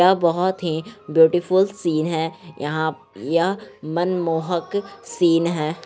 यह बहुत ही ब्यूटीफुल सीन है यहा यह मनमोहक सीन ह ।